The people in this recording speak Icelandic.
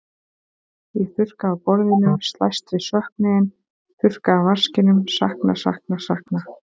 Ég þurrka af borðinu, slæst við söknuðinn, þurrka af vaskinum, sakna, sakna, sakna.